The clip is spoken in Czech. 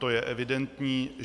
To je evidentní.